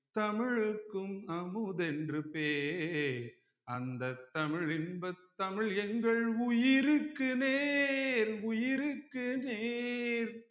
தமிழ்க்கும் அமுதென்று பேர் அந்த தமிழ் இன்பத் தமிழ் எங்கள் உயிருக்கு நேர் உயிருக்கு நேர்